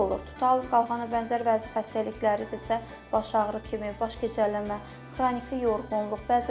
Tutalım qalxana bənzər vəzi xəstəlikləridirsə, baş ağrı kimi, baş gicəllənmə, xroniki yorğunluq.